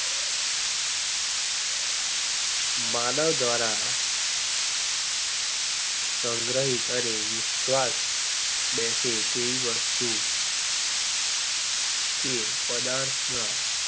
માનવદ્વારા સંગ્રહિક અને વિશ્વાસ બેસે તેવી વસ્તુ કે પદાર્થ ના